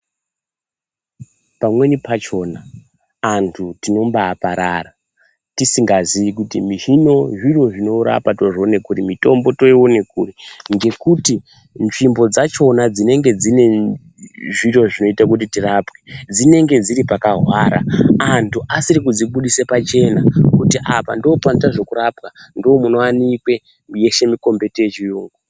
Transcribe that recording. Pamweni pachona antu tinobaaparara tizingaziyi kuti hino zviro zvinorapa ,mitombo yacho tinoione kuri ngekuti nzvimbo dzachona dzinenge dzine zviro zvinoite kuti tirapwe dzinenge dziri pakahwara antu asiri kudzibudise pachena, kuti apa ndipo panotwe zvekurapa ndomunowanike yeshe mikomboti yechiyungu.